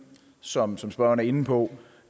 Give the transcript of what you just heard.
som som spørgeren er inde på